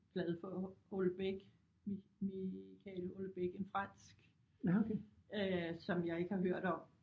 Glad for Houellebecq mi mi Michael Houellebecq en fransk øh som jeg ikke har hørt om